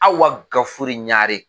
Awa gafure ɲare